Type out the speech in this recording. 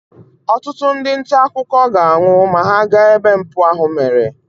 ọtụtụ ndị nta akụkọ ga-anwụ ma ha gaa ebe mpụ ahụ mere